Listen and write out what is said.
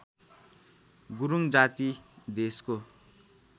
गुरूङ जाति देशको